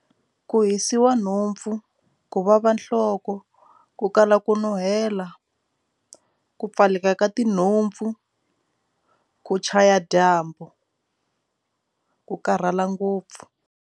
Ku hisiwa nhompfu ku vava nhloko ku kala ku nuhela ku pfaleka ka tinhompfu ku chaya dyambu ku karhala ngopfu.